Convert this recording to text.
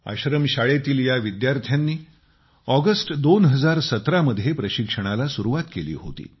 आश्रम शाळेतील या विद्यार्थ्यांनी ऑगस्ट 2017 मध्ये प्रशिक्षणाला सुरुवात केली होती